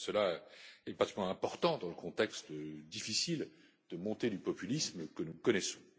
Cela est particulièrement important dans le contexte difficile de la montée du populisme que nous connaissons.